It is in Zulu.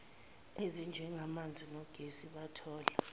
ezinjengamanzi nogesi bathola